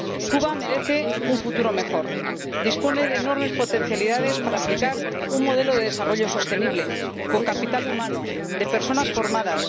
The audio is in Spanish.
Cuba merece un futuro mejor. Dispone de enormes potencialidades para aplicar un modelo de desarrollo sostenible con capital humano de personas formadas.